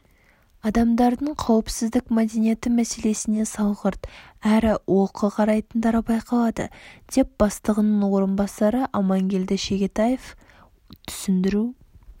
адамдардың қауіпсіздік мәдениеті мәселесіне салғырт әрі олқы қарайтындары байқалады деп бастығының орынбасары амангелді шегетаев түсіндіру